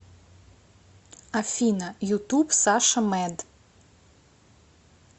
афина ютуб саша мэд